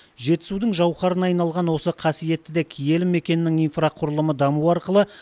жетісудың жауһарына айналған осы қасиетті де киелі мекеннің инфрақұрылымы дамуы арқылы